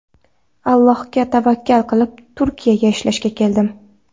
Allohga tavakkal qilib, Turkiyaga ishlashga keldim.